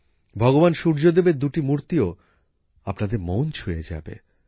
ভগবান সূর্যদেবের দুটি মুর্তিও আপনাদের মন ছুঁয়ে যাবে